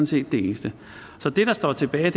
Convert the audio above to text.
set det eneste så det der står tilbage